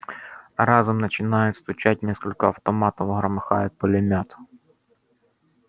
разом начинают стучать несколько автоматов громыхает пулемёт